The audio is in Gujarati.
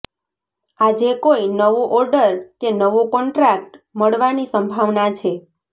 આજે કોઈ નવો ઓર્ડર કે નવો કોન્ટ્રાક્ટ મળવાની સંભાવના છે